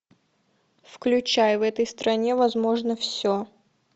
включай в этой стране возможно все